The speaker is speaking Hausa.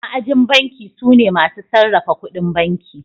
Ma'ajin banki sune masu sarrafa ƙudin banki.